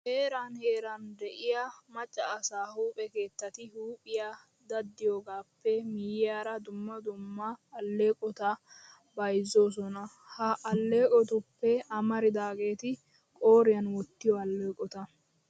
Heeran heeran de'iya macca asaa huuphe keettati huuphiya daddiyogaappe miyyiyara dumma dumma alleeqota bayzzoosona. Ha alleeqotuppe amaridaageeti qooriyan wottiyo alleeqota.